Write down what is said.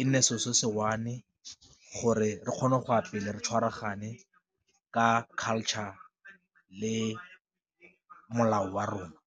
e nne selo se se one gore re kgone go ya pele re tshwaragane ka culture le molao wa rona.